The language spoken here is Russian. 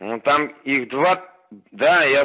ну там их два да я